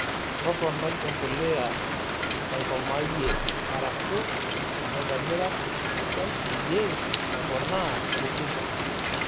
Toponai empiliya naikomayie arash naitobra esidai peyie eponaa rutuba.